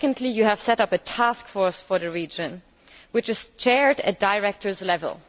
You have set up a task force for the region which is chaired at director level.